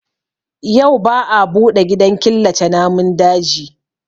Yau ba a buɗe gidan killace namun daji